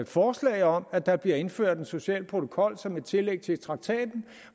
forslag om at der bliver indført en social protokol som et tillæg til traktaten